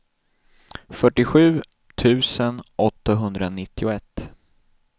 fyrtiosju tusen åttahundranittioett